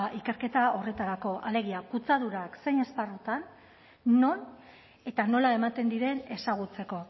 ikerketa horretarako alegia kutsadura zein esparrutan non eta nola ematen diren ezagutzeko